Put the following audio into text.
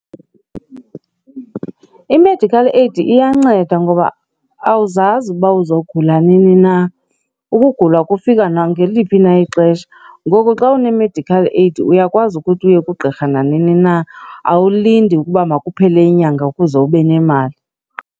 I-medical aid iyanceda ngoba awuzazi ukuba uzogula nini na, ukugula kufika nangaliphi na ixesha. Ngoku xa une-medical aid uyakwazi ukuthi uye kugqirha nanini na, awulindi ukuba makuphele inyanga ukuze ube nemali.